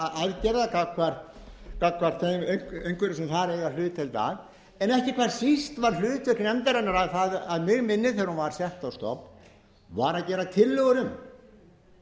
aðgerða gagnvart einhverjum sem þar eiga hlutdeild að en ekki hvað síst var hlutdeild nefndarinnar að mig minnir þegar hún var sett á stofn var að gera tillögur um